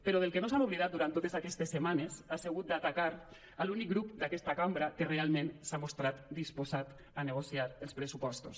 però del que no s’han oblidat durant totes aquestes setmanes ha sigut d’atacar l’únic grup d’aquests cambra que realment s’ha mostrat disposat a negociar els pressupostos